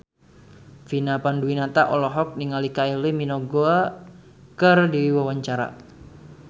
Vina Panduwinata olohok ningali Kylie Minogue keur diwawancara